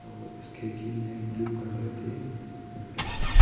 और उस खिड़की में ब्लू कलर के पर्दा है।